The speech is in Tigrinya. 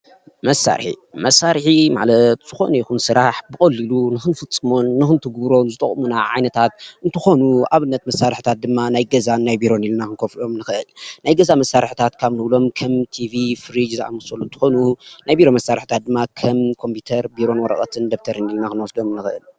መሳርሒ መሳርሒ ማለት ዝኾነ ይኹን ስራሕ ብቐሊሉ ንኽንፍፀሞን ንኽንትግብሮን ዝጠቑሙና ዓይነታት እንትኾኑ ኣብነት መሳርሕታት ድማ ናይ ገዛን ናይ ቢሮን ኢልና ክንኸፍሎም ንኽእል፡፡ ናይ ገዛ መሳርሕታት ካብ ንብሎም ከም ቲቪ፣ ፍሪጅ ዝኣመሰሉ እንትኾኑ ናይ ቢሮ መሳርሕታት ድማ ከም ኮምፒዩተርን ፣ቢሮን ወረቐትን፣ ደብተርን ኢልና ክንወስዶም ንኽእል፡፡